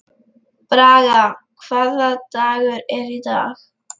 Braga, hvaða dagur er í dag?